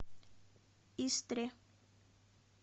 истре